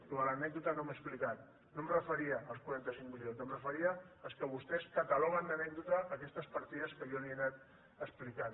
allò de l’anècdota no m’he explicat no em referia als quaranta cinc milions em referia als que vostès cataloguen d’anècdota aquestes partides que jo li he anat explicant